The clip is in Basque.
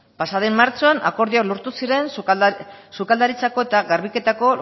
pasaden martxoan akordioak lortu ziren sukaldaritzako eta garbiketako